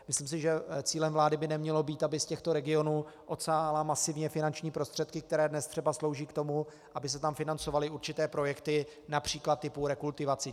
Myslím si, že cílem vlády by nemělo být, aby z těchto regionů odsávala masivně finanční prostředky, které dnes třeba slouží k tomu, aby se tam financovaly určité projekty, například typu rekultivací.